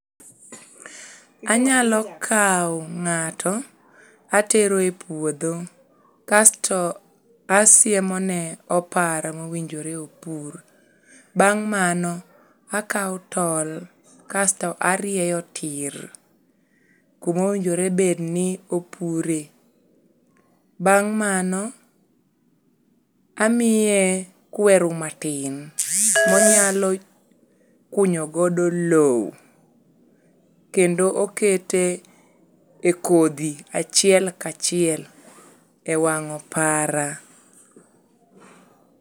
anyalo kawo ngato atero e puodho kasto asiemone opara mowinjore opur, bang mano akawo tol kasto arieyo tir kuma owinjore bed ni opure, bang mano amiye kweru matin monyalo kunyo godo lom, kendo okete e kodhi achiel kachiel e wwang opara.